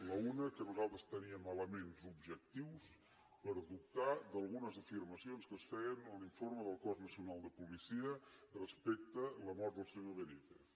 l’una que nosaltres teníem elements objectius per dubtar d’algunes afirmacions que es feien a l’informe del cos nacional de policia respecte de la mort del senyor benítez